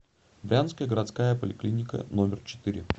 брянская городская поликлиника номер четыре